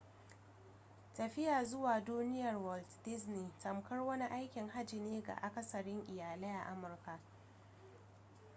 tafiya zuwa duniyar walt disney tamkar wani aikin hajji ne ga akasarin iyalai a amurka